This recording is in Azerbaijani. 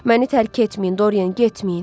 Məni tərk etməyin, Dorian, getməyin.